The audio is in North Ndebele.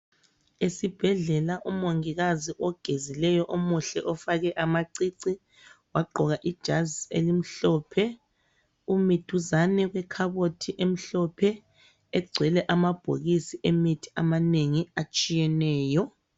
Esibhedlela umongikazi ogezileyo omuhle ofake amacici wagqoka ijazi elimhlophe umi duzane kwekhabothi emhlophe egcwele amabhokisi emithi amanengi atshiyeneyo.